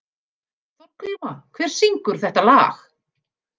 Þorgríma, hver syngur þetta lag?